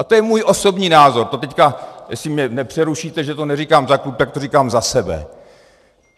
A to je můj osobní názor, to teď, jestli mě nepřerušíte, že to neříkám za klub, tak to říkám za sebe.